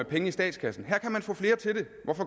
penge i statskassen ved